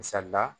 Misali la